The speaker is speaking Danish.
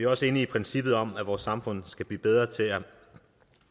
også enige i princippet om at vores samfund skal blive bedre til at